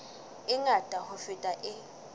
e ngata ho feta e